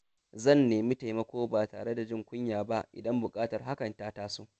Zan nemi taimako ba tare da jin kunya ba idan buƙatar hakan ta taso.